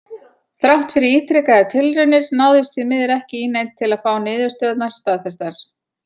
Þrátt fyrir ítrekaðar tilraunir náðist því miður ekki í neinn til að fá niðurstöðurnar staðfestar.